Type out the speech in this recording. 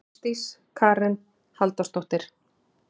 Ásdís Karen Halldórsdóttir.